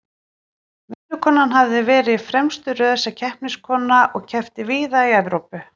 Vinkonan hafði verið í fremstu röð sem keppniskona og keppt víða í Evrópu.